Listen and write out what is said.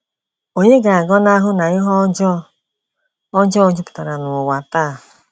Ònye ga-agọnahụ na ihe ọjọọ ọjọọ jupụtara n’ụwa taa?